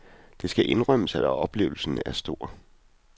Det skal indrømmes, at oplevelsen er stor.